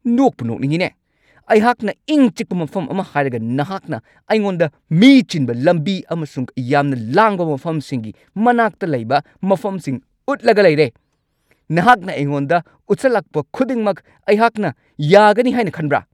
ꯅꯣꯛꯄꯨ-ꯅꯣꯛꯅꯤꯡꯉꯤꯅꯦ ꯫ ꯑꯩꯍꯥꯛꯅ ꯏꯪ-ꯆꯤꯛꯄ ꯃꯐꯝ ꯑꯃ ꯍꯥꯏꯔꯒ ꯅꯍꯥꯛꯅ ꯑꯩꯉꯣꯟꯗ ꯃꯤ ꯆꯤꯟꯕ ꯂꯝꯕꯤ ꯑꯃꯁꯨꯡ ꯌꯥꯝꯅ ꯂꯥꯡꯕ ꯃꯐꯝꯁꯤꯡꯒꯤ ꯃꯅꯥꯛꯇ ꯂꯩꯕ ꯃꯐꯝꯁꯤꯡ ꯎꯠꯂꯒ ꯂꯩꯔꯦ꯫ ꯅꯍꯥꯛꯅ ꯑꯩꯉꯣꯟꯗ ꯎꯠꯁꯜꯂꯛꯄ ꯈꯨꯗꯤꯡꯃꯛ ꯑꯩꯍꯥꯛꯅ ꯌꯥꯒꯅꯤ ꯍꯥꯏꯅ ꯈꯟꯕ꯭ꯔꯥ?